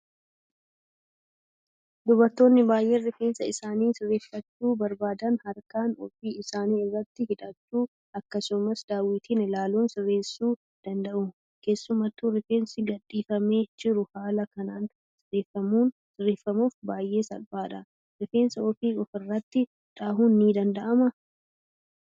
Dubaroonni baay'een rifeensa isaanii sirreeffachuu barbaadan harkaan ofii isaanii irratti hidhachuu akkasumas daawwitiin ilaaluun sirreessuu danda'u. Keessattuu rifeensi gadhiifamee jiru haala kanaan sirreessuuf baay'ee salphata. Rifeensa ofii ofirratti dhahuun ni danda'amaa?